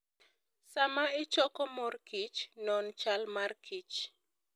Sama ichoko mor kich, non chal markich